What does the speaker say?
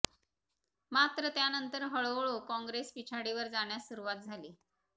मात्र त्यानंतर हळूहळू काँग्रेस पिछाडीवर जाण्यास सुरुवात झाली